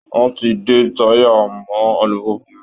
Wọn ti ń de táyà mọ́ alùpùpù wọn